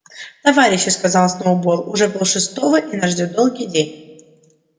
товарищи сказал сноуболл уже полшестого и нас ждёт долгий день